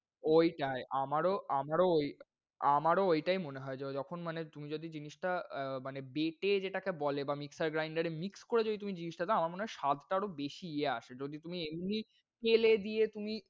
ওইটাই আমারও আমারও আমারও ওইটাই মনে হয়। য~যখন মানে তুমি যদি জিনিসটা মানে বেটে যেটাকে বলে বা mixer grinder এ mix করে তুমি যদি জিনিসটা দাও আমার মনে হয় স্বাদ টা আরও বেশি ইয়ে আসে। যদি তুমি, তুমি তেলে দিয়ে তুমি,